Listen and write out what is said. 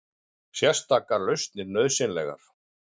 Sérstakar lausnir nauðsynlegar